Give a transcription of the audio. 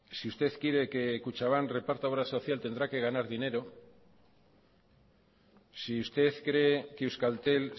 si usted quiere que kutxabank reparta obra social tendrá que ganar dinero si usted cree que euskaltel